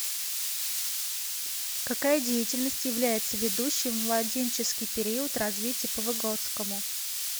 какая деятельность является ведущей в младенческий период развития по выготскому